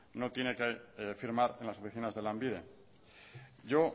no tiene que firmar en las oficinas de lanbide yo